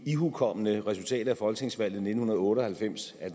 ihukommende resultatet af folketingsvalget nitten otte og halvfems at